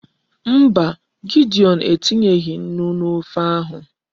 Mba, Gideon etinyeghi Nnu n'ofe ahu